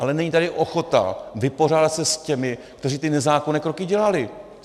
Ale není tady ochota vypořádat se s těmi, kteří ty nezákonné kroky dělali.